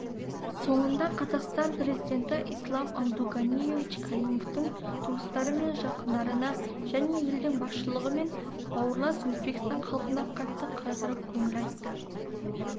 соңында қазақстан президенті ислам абдуганиевич каримовтің туыстары мен жақындарына және елдің басшылығы мен бауырлас өзбекстан халқына қатты қайғырып көңіл айтты